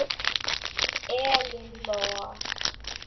Elín Lóa.